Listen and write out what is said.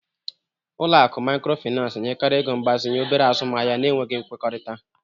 Ụlọ akụ Microfinance na-enyekarị ego mgbazinye obere azụmaahịa na-enweghị nkwekọrịta